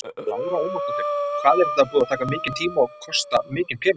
Lára Ómarsdóttir: Hvað er þetta búið að taka mikinn tíma og kosta mikinn pening?